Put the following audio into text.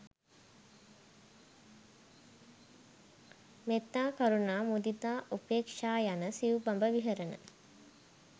මෙත්තා, කරුණා, මුදිතා, උපේක්‍ෂා යන සිව්බඹ විහරණ